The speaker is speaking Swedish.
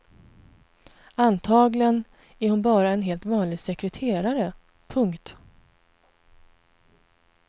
Antagligen är hon bara en helt vanlig sekreterare. punkt